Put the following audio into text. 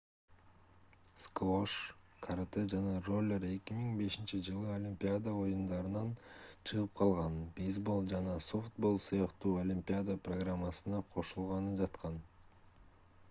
сквош карате жана роллер 2005-жылы олимпиада оюндарынан чыгып калган бейсбол жана софтбол сыяктуу олимпиада программасына кошулганы жаткан